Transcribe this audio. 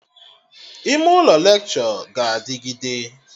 Ime ụlọ lekshọ ga-adịgide